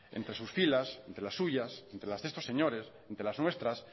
entre sus filas entre las suyas entre las de estos señores entre las nuestras